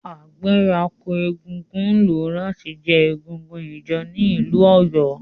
Agbẹ̀rako egúngún lo lati je egúngún ijó ni ilu Oyo.